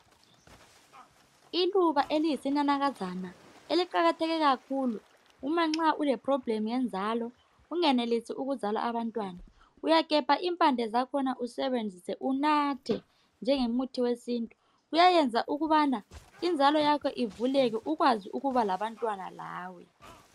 Iluba eliyisinanakazana eliqakatheke kakhulu uma nxa uleproblem yenzalo ungenelisi ukuzala abantwana uyagebha impande zakhona usebenzise unathe njengomuthi wesintu. Kuyayenza ukubana inzalo yakho ivuleke ukwazi ukuba labantwana lawe.